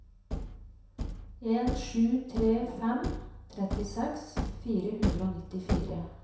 en sju tre fem trettiseks fire hundre og nittifire